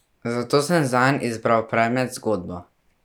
Zato sem zanj izbral predmet z zgodbo.